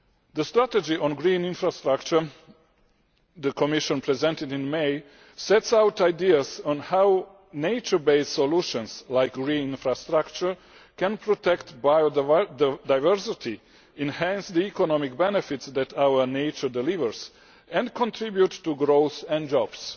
The strategy on green infrastructure which the Commission presented in May sets out ideas on how nature based solutions like green infrastructure can protect biodiversity, enhance the economic benefits that our nature delivers, and contribute to growth and jobs.